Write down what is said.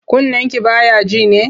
Kunnenki ba ya ji ne?